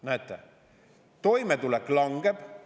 Näete, toimetulek langeb …